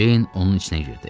Ceyn onun içinə girdi.